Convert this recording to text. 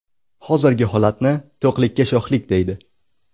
Hozirgi holatni to‘qlikka sho‘xlik, deydi.